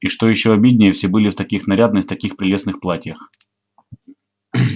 и что ещё обиднее все были в таких нарядных таких прелестных платьях